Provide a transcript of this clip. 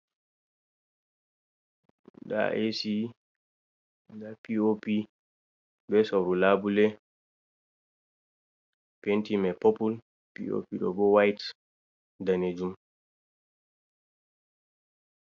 Nda esi, ɓe piopi, be sauru labule. Penti mai popul, pi’opi ɗo ɓo white dane jum.